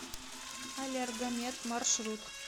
аллергомед маршрут